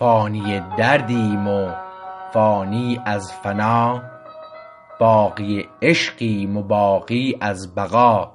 فانی دردیم و فانی از فنا باقی عشقیم و باقی از بقا